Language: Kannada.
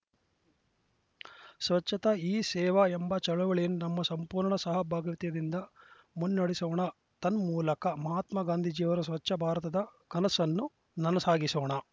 ಸ್ವಚ್ಛತಾ ಹಿ ಸೇವಾ ಎಂಬ ಚಳವಳಿ ನಮ್ಮ ಸಂಪೂರ್ಣ ಸಹಭಾಗ್ಯಾತದಿಂದ ಮುನ್ನಡೆಸೋಣ ತನ್ಮೂಲಕ ಮಹಾತ್ಮ ಗಾಂಧೀಜಿಯವರ ಸ್ವಚ್ಛ ಭಾರತದ ಕನಸನ್ನು ನನಸಾಗಿಸೋಣ